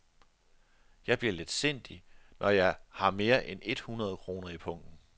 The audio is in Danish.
Jeg bliver letsindig, når jeg har mere end et hundrede kroner i pungen.